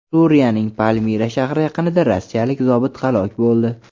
Suriyaning Palmira shahri yaqinida rossiyalik zobit halok bo‘ldi.